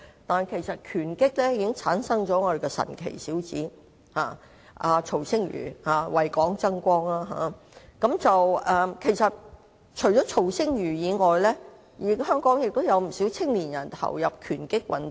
但是，拳擊界已經誕生了一位"神奇小子"曹星如，為港爭光，而且除了曹星如之外，香港也有不少年青人投入拳擊運動。